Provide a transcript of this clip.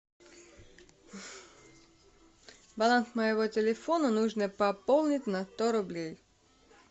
баланс моего телефона нужно пополнить на сто рублей